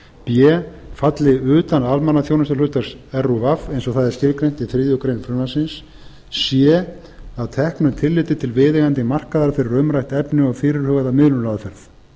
b falli utan almannaþjónustuhlutverks rúv eins og það er skilgreint í þriðju greinar frumvarpsins c að teknu tilliti til viðeigandi markaða fyrir umrætt efni og fyrirhugaða